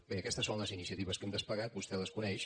bé aquestes són les iniciatives que hem desplegat vostè les coneix